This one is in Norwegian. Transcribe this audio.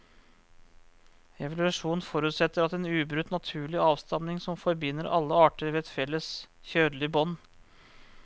Evolusjon forutsetter en ubrutt naturlig avstamning som forbinder alle arter ved et felles kjødelig bånd.